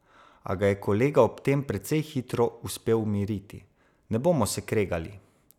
A ga je kolegu ob tem precej hitro uspelo umiriti: "Ne bomo se kregali.